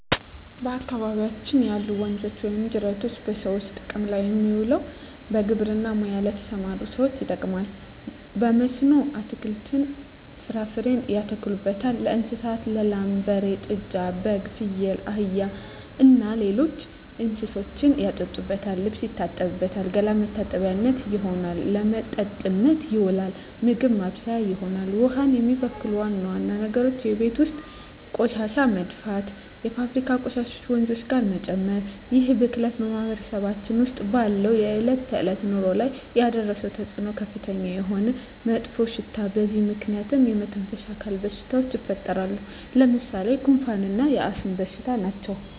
በአካባቢያችን ያሉ ወንዞች ወይም ጅረቶች በሰዎች ጥቅም ላይ የሚውለው በግብርና ሙያ ለተሠማሩ ሠዎች ይጠቅማል። በመስኖ አትክልትን፣ ፍራፍሬ ያተክሉበታል። ለእንስሳት ላም፣ በሬ፣ ጥጃ፣ በግ፣ ፍየል፣ አህያ እና ሌሎች እንስሶችን ያጠጡበታል፣ ልብስ ይታጠብበታል፣ ገላ መታጠቢያነት ይሆናል። ለመጠጥነት ይውላል፣ ምግብ ማብሠያ ይሆናል። ውሃውን የሚበክሉ ዋና ዋና ነገሮች የቤት ውስጥ ቆሻሻ መድፋት፣ የፋብሪካ ቆሻሾችን ወንዙ ጋር መጨመር ይህ ብክለት በማህበረሰባችን ውስጥ ባለው የዕለት ተዕለት ኑሮ ላይ ያደረሰው ተፅኖ ከፍተኛ የሆነ መጥፎሽታ በዚህ ምክንያት የመተነፈሻ አካል በሽታዎች ይፈጠራሉ። ለምሣሌ፦ ጉንፋ እና የአስም በሽታ ናቸው።